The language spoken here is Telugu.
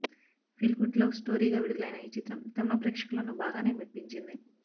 ఫీల్ గుడ్ లవ్ స్టొరీ గా విడుదలైన ఈ చిత్రం తమిళ ప్రేక్షకులను బాగానే మెప్పించింది